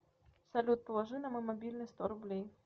салют положи на мой мобильный сто рублей